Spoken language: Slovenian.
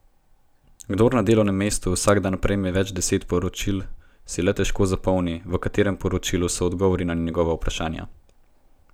Kdor na delovnem mestu vsak dan prejme več deset poročil, si le težko zapomni, v katerem poročilu so odgovori na njegova vprašanja.